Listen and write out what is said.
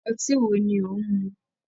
Ọtí wo ni ò ń mu?